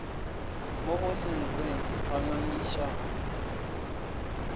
mo go senkweng ga ngangišano